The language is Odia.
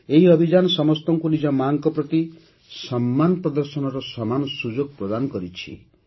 ଏହି ଅଭିଯାନ ସମସ୍ତଙ୍କୁ ନିଜ ମା'ଙ୍କ ପ୍ରତି ସମ୍ମାନ ପ୍ରଦର୍ଶନର ସମାନ ସୁଯୋଗ ପ୍ରଦାନ କରିଛି